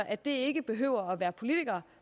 at det ikke behøver at være politikere